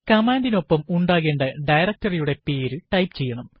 command നു ഒപ്പം ഉണ്ടാക്കേണ്ട ഡയറക്ടറി യുടെപേര് ടൈപ്പ് ചെയ്യണം